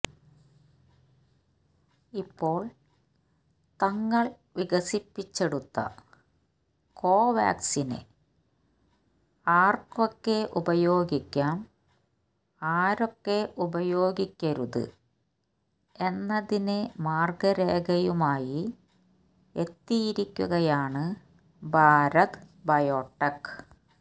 ഇപ്പോള് തങ്ങള് വികസിപ്പിച്ചെടുത്ത കോവാക്സിന് ആര്ക്കൊക്കെ ഉപയോഗിക്കാം ആരൊക്കെ ഉപയോഗിക്കരുത് എന്നതിന് മാര്ഗ്ഗരേഖയുമായി എത്തിയിരിയ്ക്കുകയാണ് ഭാരത് ബയോടെക്